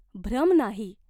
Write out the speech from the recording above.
भ्रम नाही.